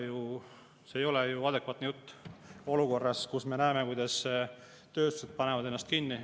No see ei ole adekvaatne jutt olukorras, kus me näeme, kuidas tööstused panevad ennast kinni.